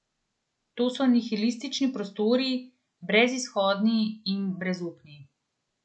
To so nihilistični prostori, brezizhodni in brezupni.